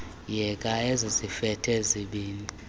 yeka ezizifede zibini